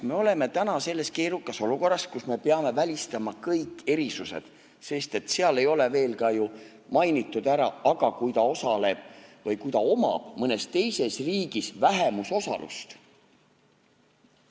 Me oleme täna selles keerukas olukorras, kus me peame välistama kõik erisused, sest seal ei ole veel ka ju mainitud ära, mis saab siis, kui ta osaleb kuskil või kui ta omab mõnes teises riigis vähemusosalust.